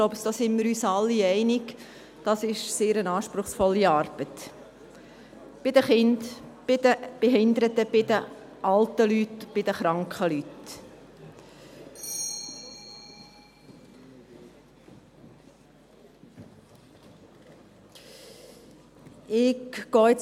Ich glaube, wir sind uns alle einig: Dies ist eine sehr anspruchsvolle Arbeit – bei den Kindern, bei den Behinderten, bei den alten Leuten, bei den kranken Leuten.